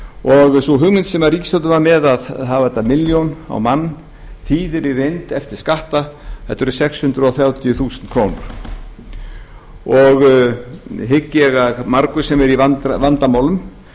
og sú hugmynd sem ríkisstjórnin var með að hafa þetta milljón á mann þýðir í reynd eftir skatta þetta eru sex hundruð þrjátíu þúsund krónur hygg ég að margur sem er í vandamálum